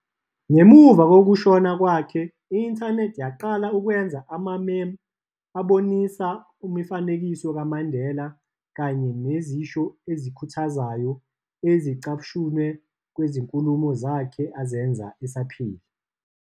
Ngemuva kokushona kwakhe, i-internet yaqala ukwenza ama-memes abonisa imifanekiso kaMandeloa, kanye nezisho ezikhuthazayo ezicashunwe kwizinkulumo zakhe azenza esaphila.